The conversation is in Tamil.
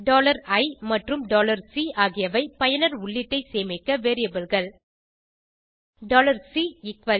i மற்றும் C ஆகியவை பயனர் உள்ளீட்டை சேமிக்க variableகள்